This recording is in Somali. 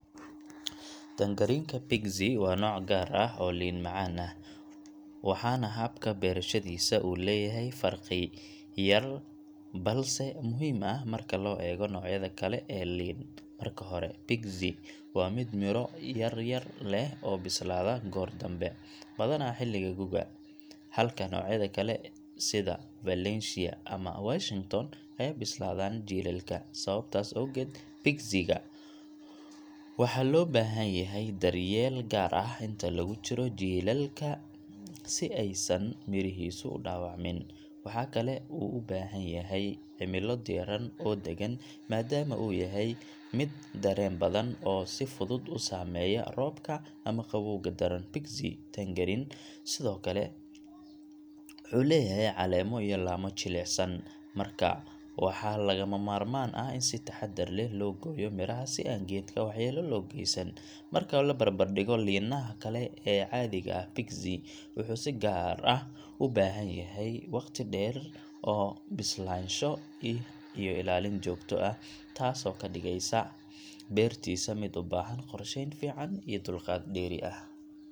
Tangerine-ka Pixie waa nooc gaar ah oo liin macaan ah, waxaana habka beerashadiisa uu leeyahay farqi yar balse muhiim ah marka loo eego noocyada kale ee liin. Marka hore, Pixie waa mid miro yar-yar leh oo bislaada goor dambe, badanaa xilliga guga, halka noocyada kale sida Valencia ama Washington ay bislaadaan jiilaalka. Sababtaas awgeed, Pixie-ga waxaa loo baahan yahay daryeel gaar ah inta lagu jiro jiilaalka si aysan mirihiisu u dhaawacmin. Waxa kale oo uu u baahan yahay cimilo diirran oo deggan maadaama uu yahay mid dareen badan oo si fudud u saameeya roobka ama qabowga daran. Pixie tangerine sidoo kale wuxuu leeyahay caleemo iyo laamo jilicsan, markaa waxaa lagama maarmaan ah in si taxaddar leh loo gooyo miraha si aan geedka waxyeello loo geysan. Marka la barbar dhigo liinaha kale ee caadiga ah, Pixie wuxuu si gaar ah u baahan yahay waqti dheer oo bislaansho ah iyo ilaalin joogto ah, taasoo ka dhigaysa beertiisa mid u baahan qorsheyn fiican iyo dulqaad dheeri ah.